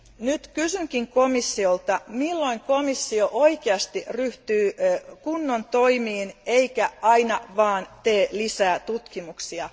Nyt kysynkin komissiolta, milloin komissio oikeasti ryhtyy kunnon toimiin, eikä aina vaan tee lisää tutkimuksia?